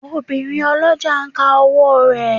Obìnrin ọlọ́jà ń ka owó rẹ̀.